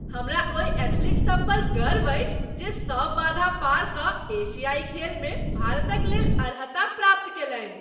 हमरा ओहि एथलीटसभ पर गर्व अछि जे सभ बाधा पार कऽ एशियाइ खेलमे भारतक लेल अर्हता प्राप्त कयलनि।